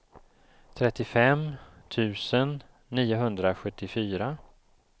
trettiofem tusen niohundrasjuttiofyra